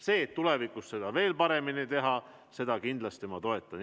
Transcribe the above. Seda, et tulevikus asju veel paremini teha, ma kindlasti toetan.